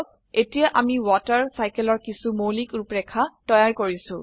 এতিয়া আমি water cycle water সাইকেলৰ কিছু মৌলিক ৰুপৰেখা তৈয়াৰ কৰিছো